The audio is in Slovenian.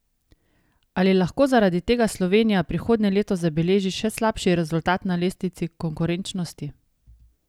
Ali lahko zaradi tega Slovenija prihodnje leto zabeleži še slabši rezultat na lestvici konkurenčnosti?